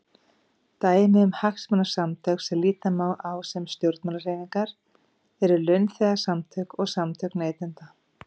Dæmi um hagsmunasamtök sem líta má á sem stjórnmálahreyfingar eru launþegasamtök og samtök neytenda.